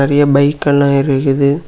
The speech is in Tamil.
நறைய பைக் எல்லா இருக்குது.